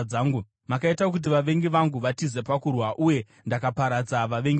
Makaita kuti vavengi vangu vatize pakurwa, uye ndakaparadza vavengi vangu.